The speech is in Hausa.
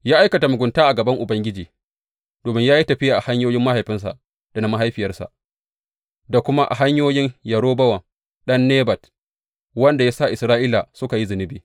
Ya aikata mugunta a gaban Ubangiji, domin ya yi tafiya a hanyoyin mahaifinsa da na mahaifiyarsa, da kuma a hanyoyin Yerobowam ɗan Nebat, wanda ya sa Isra’ila suka yi zunubi.